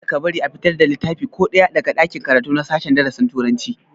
Kada ka bari a fitar da littafi ko ɗaya daga ɗakin karatu na sashen darasin turanci!